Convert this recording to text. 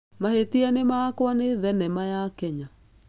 Mahĩtia nĩ makwa nĩ thenema ya Kenya.